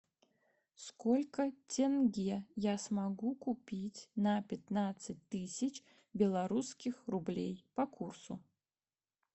сколько тенге я смогу купить на пятнадцать тысяч белорусских рублей по курсу